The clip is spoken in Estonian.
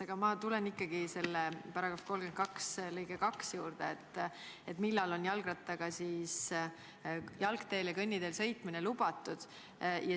Aga ma tulen ikkagi selle § 32 lõike 2 juurde, millal on jalgrattaga jalgteel ja kõnniteel sõitmine lubatud.